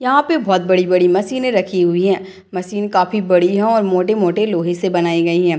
यहाँ पे बहुत बड़े बड़े मशीन रही हुई है मशीन काफी बड़ी है और मोटे मोटे लोहे से बनाई गई है।